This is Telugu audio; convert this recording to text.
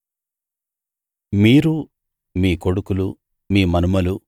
మీరూ మీ కొడుకులూ మీ మనుమలూ